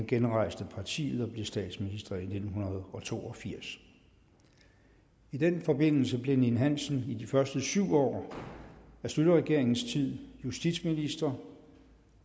genrejste partiet og blev statsminister i nitten to og firs i den forbindelse blev erik ninn hansen i de første syv år af schlüterregeringens tid justitsminister